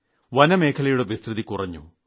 വനമേഖലയുടെ വിസ്തൃതി കുറഞ്ഞു